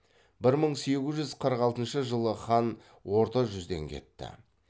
бір мың сегіз жүз қырық алтыншы жылы хан орта жүзден кетті